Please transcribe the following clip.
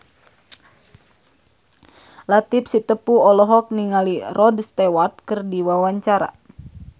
Latief Sitepu olohok ningali Rod Stewart keur diwawancara